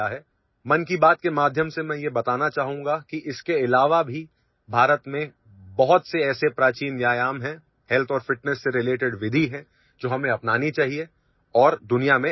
Through 'Mann Ki Baat' I would like to tell you that apart from this, there are many ancient exercises in India and methods related to health and fitness, which we should adopt and teach further in the world